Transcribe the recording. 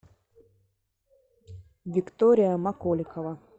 виктория маколикова